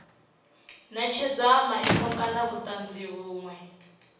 netshedza maimo kana vhutanzi vhunwe